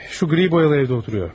Şu gri boyalı evdə oturuyor.